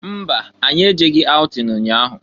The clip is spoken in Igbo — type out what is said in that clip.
Mba! Anyị ejeghi aụtin nnya ahụ.